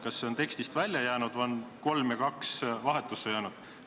Kas see on tekstist välja jäänud või on 3 ja 2 vahetusse läinud?